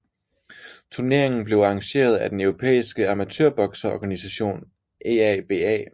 Turneringen blev arrangeret af den europæiske amatørbokseorganisation EABA